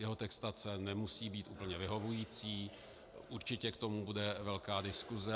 Jeho textace nemusí být úplně vyhovující, určitě k tomu bude velká diskuse.